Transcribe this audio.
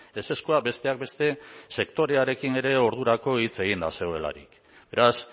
ezezkoa besteak beste sektorearekin ere ordurako hitz eginda zegoelarik beraz